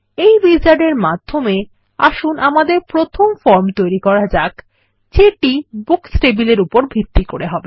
এই উইজার্ড এর মাধ্যমে আসুন আমাদের প্রথম ফর্ম তৈরি করা যাক যেটি বুকস টেবিলের উপর ভিত্তি করে হবে